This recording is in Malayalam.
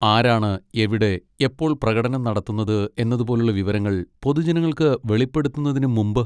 ആരാണ് എവിടെ, എപ്പോൾ പ്രകടനം നടത്തുന്നത് എന്നതുപോലുള്ള വിവരങ്ങൾ പൊതുജനങ്ങൾക്ക് വെളിപ്പെടുത്തുന്നതിന് മുമ്പ്?